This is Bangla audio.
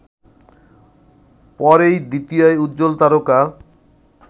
পরেই দ্বিতীয় উজ্জ্বল তারকা